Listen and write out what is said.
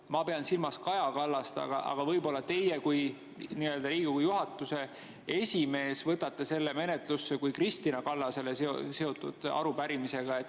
Ma pean silmas Kaja Kallast, aga võib-olla teie kui Riigikogu esimees võtate selle menetlusse kui Kristina Kallasega seotud arupärimise.